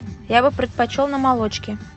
я бы предпочел на молочке